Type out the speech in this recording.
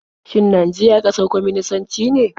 Shin Najeriya ƙasar kwaminisanci ce?